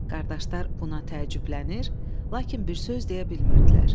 Qardaşlar buna təəccüblənir, lakin bir söz deyə bilmirdilər.